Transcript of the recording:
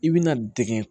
I bɛna dege